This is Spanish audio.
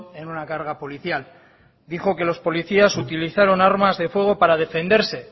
en una carga policial dijo que los policías utilizaron armas de fuego para defenderse